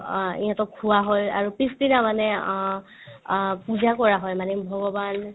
অ, ইহঁতক খোৱাৱা হয় আৰু পিছদিনা মানে অ অ পূজা কৰা হয় মানে ভগৱান